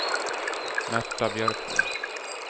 Märta Björkman